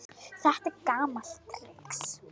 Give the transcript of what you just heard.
Þetta er gamalt trix.